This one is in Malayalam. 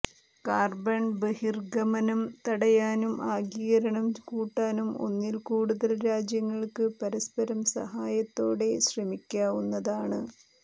കാർബൺ ബഹിർഗമനം തടയാനും ആഗിരണം കൂട്ടാനും ഒന്നിൽകൂടുതൽ രാജ്യങ്ങൾക്ക് പരസ്പരം സഹായത്തോടെ ശ്രമിക്കാവുന്നതാണ്